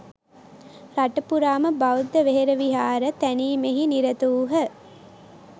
රටපුරාම බෞද්ධ වෙහෙරවිහාර තැනීමෙහි නිරතවූහ.